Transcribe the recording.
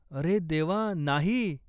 अरे देवा, नाही!